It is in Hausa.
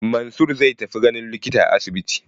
Mansur zai tafi ganin likita a asibiti.